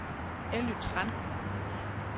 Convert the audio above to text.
Elly Tran